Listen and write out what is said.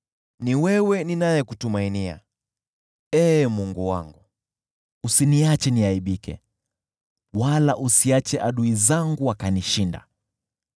ni wewe ninayekutumainia, Ee Mungu wangu. Usiniache niaibike, wala usiache adui zangu wakanishinda.